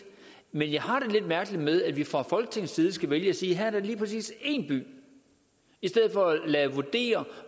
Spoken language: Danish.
men jeg har det lidt mærkeligt med at vi fra folketingets side skal vælge at sige at det lige præcis én by i stedet for at vurdering af